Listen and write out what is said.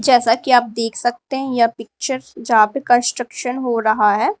जैसा कि आप देख सकते हैं यह पिक्चर यहां पे कंस्ट्रक्शन हो रहा है।